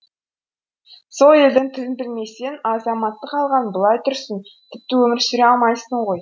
сол елдің тілін білмесең азаматтық алған былай тұрсын тіпті өмір сүре алмайсың ғой